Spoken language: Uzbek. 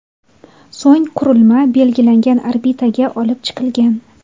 So‘ng qurilma belgilangan orbitaga olib chiqilgan.